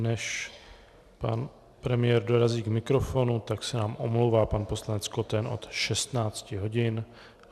Než pan premiér dorazí k mikrofonu, tak se nám omlouvá pan poslanec Koten od 16 hodin.